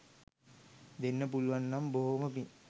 දෙන්න පුළුවන් නම් බොහෝම පිං